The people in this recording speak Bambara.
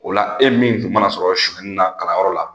O la e min kun mana sɔrɔ suɲɛni na kalanyɔrɔ la